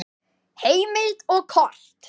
Heimild og kort